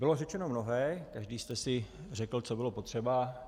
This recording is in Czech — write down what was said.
Bylo řečeno mnohé, každý jste si řekl, co bylo potřeba.